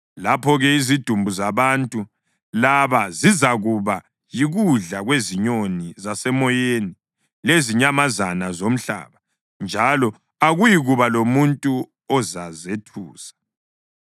Lapho-ke izidumbu zabantu laba zizakuba yikudla kwezinyoni zasemoyeni lezinyamazana zomhlaba, njalo akuyikuba lomuntu ozazethusa.